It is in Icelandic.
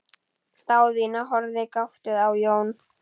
Daðína horfði gáttuð á Jón.